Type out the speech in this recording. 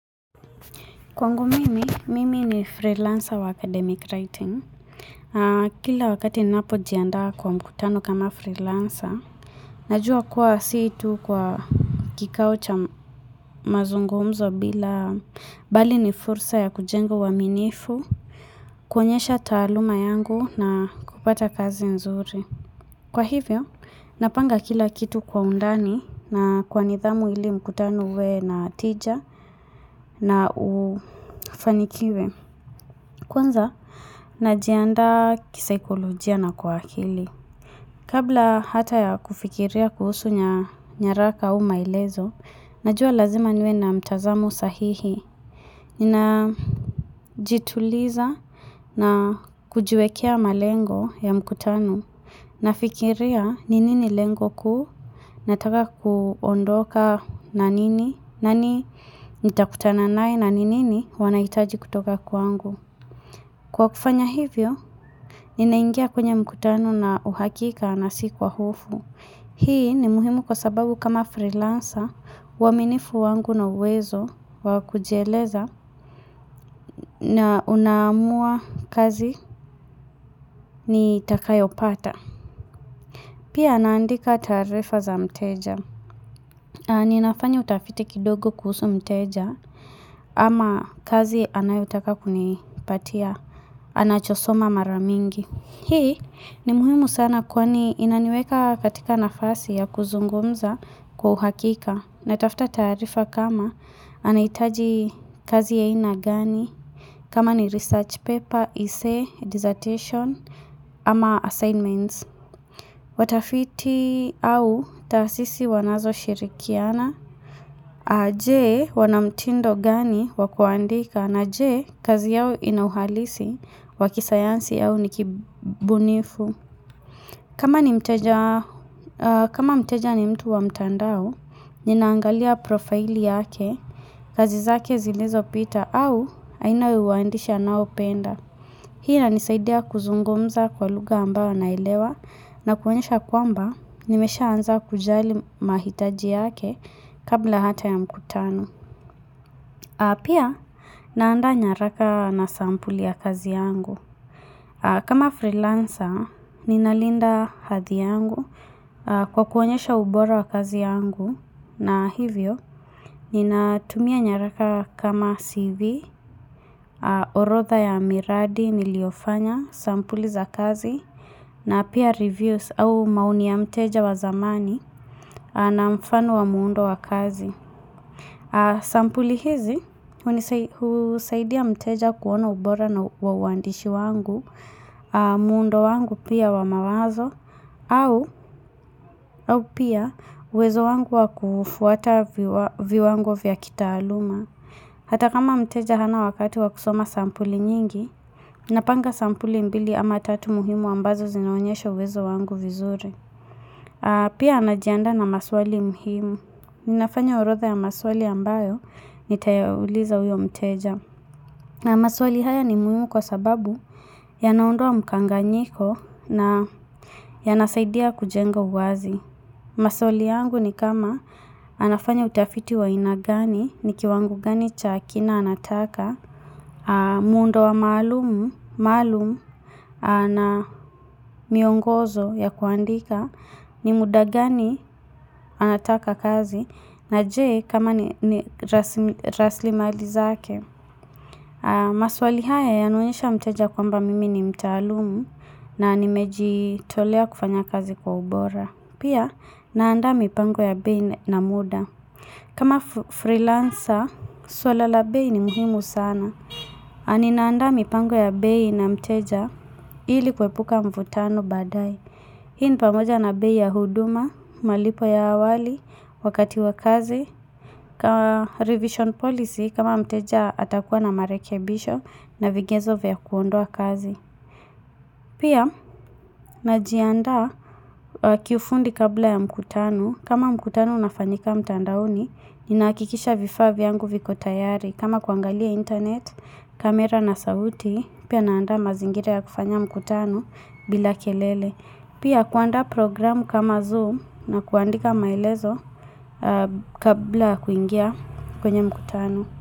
Kwangu mimi, mimi ni freelancer wa academic writing. Kila wakati ninapo jiandaa kwa mkutano kama freelancer, najua kuwa si tu kwa kikao cha mazungumzo bali ni fursa ya kujengo aminifu, kuonyesha taaluma yangu na kupata kazi nzuri. Kwa hivyo, napanga kila kitu kwa undani na kwa nidhamu ili mkutano uwe na tija na ufanikiwe. Kwanza, najiandaa kisaikolojia na kwa akili. Kabla hata ya kufikiria kuhusu nyaraka au maelezo, najua lazima niwe na mtazamu sahihi. Ninajituliza na kujuekea malengo ya mkutano. Nafikiria, ni nini lengo kuu, nataka kuondoka na nini, nani nitakutana naye na ni nini wanahitaji kutoka kwangu. Kwa kufanya hivyo, ninaingia kwenye mkutano na uhakika na si kwa hufu. Hii ni muhimu kwa sababu kama freelancer, uaminifu wangu na uwezo wakujieleza na unamua kazi ni takayo pata. Pia anandika taarifa za mteja. Ninafanya utafiti kidogo kuhusu mteja ama kazi anayotaka kunipatia, anachosoma mara mingi. Hii ni muhimu sana kwani inaniweka katika nafasi ya kuzungumza kwa uhakika na tafta taarifa kama anahitaji kazi ya haina gani kama ni research paper, essay, dissertation ama assignments. Watafiti au taasisi wanazoshirikiana je wanamtindo gani wakuandika na je kazi yao inauhalisi wakisayansi yao nikibunifu kama mteja ni mtu wa mtandao Ninaangalia profili yake kazi zake zilizopita au aina ya uandishi anayopenda Hii na nisaidia kuzungumza kwa luga ambao naelewa na kuonyesha kwamba nimeshaa anza kujali mahitaji yake kabla hata ya mkutano. Pia naanda nyaraka na sampuli ya kazi yangu. Kama freelancer, ninalinda hathi yangu kwa kuonyesha ubora wa kazi yangu. Na hivyo, ninatumia nyaraka kama CV, orotha ya miradi niliofanya sampuli za kazi na pia reviews au maoni ya mteja wa zamani na mfano wa muundo wa kazi. Sampuli hizi, unisaidia mteja kuona ubora na uwandishi wangu, muundo wangu pia wa mawazo, au pia uwezo wangu wa kufuata viwango vya kitaaluma. Hata kama mteja hana wakati wa kusoma sampuli nyingi, napanga sampuli mbili ama tatu muhimu ambazo zinaonyesho uwezo wangu vizuri. Pia najiandaa na maswali muhimu. Ninafanya orodha ya maswali ambayo nitayauliza uyo mteja. Maswali haya ni muhimu kwa sababu ya naondoa mkanganyiko na yanasaidia kujenga uwazi. Maswali yangu ni kama anafanya utafiti wa aina gani ni kiwangu gani cha kina anataka. Muundo maalumu na miongozo ya kuandika ni muda gani anataka kazi na je kama ni rasilimali zake maswali haya yanaoyesha mteja kwamba mimi ni mtaalumu na nimejitolea kufanya kazi kwa ubora. Pia naanda mipango ya bei na muda kama freelancer, swala la bei ni muhimu sana na ninaanda mipango ya bei na mteja ili kuepuka mvutano badai Hii ni pamoja na bei ya huduma, malipo ya awali, wakati wa kazi kama revision policy kama mteja atakuwa na marekebisho na vigenzo vya kuondoa kazi Pia najiaanda kifundi kabla ya mkutano kama mkutano unafanyika mtandaoni Nina hakikisha vifaa vyangu viko tayari. Kama kuangalia internet, kamera na sauti pia naanda mazingira ya kufanya mkutano bila kelele. Pia kuandaa programu kama Zoom na kuandika maelezo kabla ya kuingia kwenye mkutano.